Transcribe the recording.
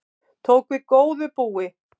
Tók við góðu búi